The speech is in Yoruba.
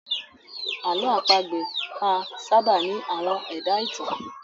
Àlọ́ àpagbè máa sábà ní àwọn ẹ̀dá-ìtàn